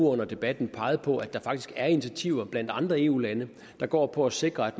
under debatten peget på at der faktisk er initiativer blandt andre eu lande der går på at sikre at